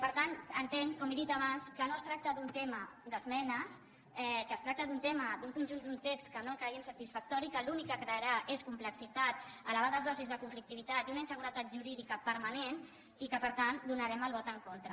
per tant entenc com he dit abans que no es tracta d’un tema d’esmenes que es tracta d’un tema d’un conjunt d’un text que no creiem satisfactori que l’únic que crearà és complexitat elevades dosis de conflictivitat i una inseguretat jurídica permanent i per tant hi donarem el vot en contra